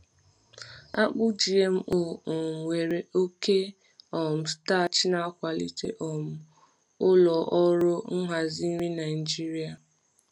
Akpụ GMO um nwere oke oke um starch na-akwalite um ụlọ ọrụ nhazi nri Naijiria.